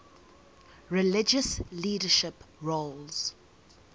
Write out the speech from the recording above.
religious leadership roles